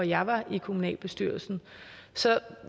jeg var i kommunalbestyrelsen så